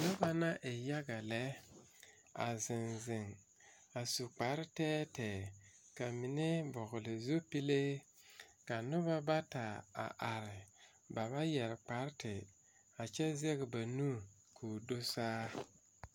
Noba la e yaga lɛ a ziŋziŋ a su kpare tɛɛtɛɛ kamine vɔgle zupile ka noba bata a are ba ba yɛre kpare a kyɛ zɛge ba nu ko do saa.